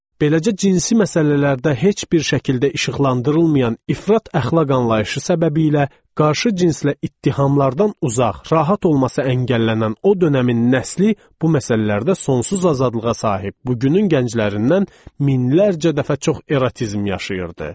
Beləcə cinsi məsələlərdə heç bir şəkildə işıqlandırılmayan ifrat əxlaq anlayışı səbəbilə qarşı cinslə ittihamlardan uzaq, rahat olması əngəllənən o dönəmin nəsli bu məsələlərdə sonsuz azadlığa sahib, bugünün gənclərindən minlərcə dəfə çox erotizm yaşayırdı.